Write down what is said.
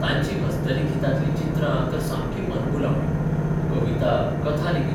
तांचीं हस्तिलिखितांतलीं चित्रां तर सामकी मनभुलावर्णी कविता कथा लेगीत